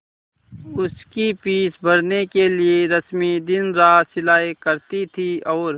उसकी फीस भरने के लिए रश्मि दिनरात सिलाई करती थी और